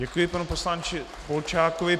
Děkuji panu poslanci Polčákovi.